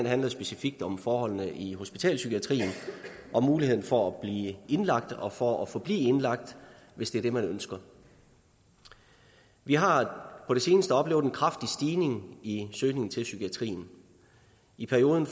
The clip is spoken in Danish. handler specifikt om forholdene i hospitalspsykiatrien og muligheden for at blive indlagt og for at forblive indlagt hvis det er det man ønsker vi har på det seneste oplevet en kraftig stigning i søgningen til psykiatrien i perioden